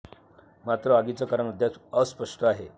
मात्र आगीचं कारण अद्याप अस्पष्ट आहे.